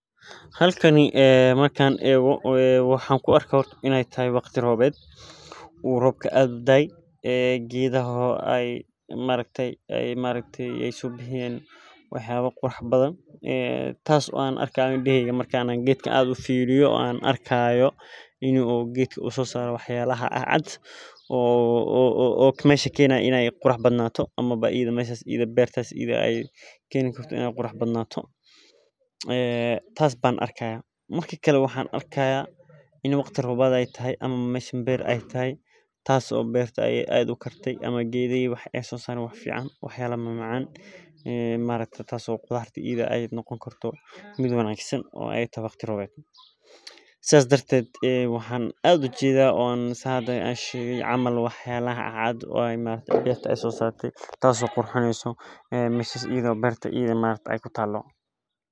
Halkaani markan eggo maaxan kuarkaa inee taaho waqti roweed, u robka aad udaay ee gedaaha ee maaragtee ee maaragtee ee sobixiyen wax yaaba qurux badan, ee taas o aan arkayo markaa indeeheyga firiyo o aan arkaayo inu geedka u sosaro wax yalaha caad caad, o meshaa kenaayo ine qurux badnatho amaba meshaas ida ah keni karto ine qurux baadnato, ee taas baan arkayaa, ee marki kalee waxan arki hayaa ini meshan ber ee tahay ,taas o bertaa aad u kartee o ee sosarto wax yala aad u fiican aad u maacan, taas o qudartaa ee noqon karto miid wanagsan o ee taaho waqti roweed, sas darteed waxaan aad ujedaa sithaan hada sheege ee camal wax yalaha caad caad o deqtaa sosartee taso qurxineyso meshaas ida o berta ee kutalo.